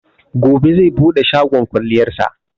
Gobe zai buɗe shagon kwalliyar sa